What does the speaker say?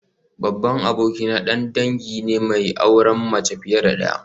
Babban abokina dan dangi ne mai auren mace fiye da daya